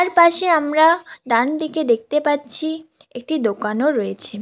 পাশে আমরা ডান দিকে দেখতে পাচ্ছি একটি দোকানও রয়েছে।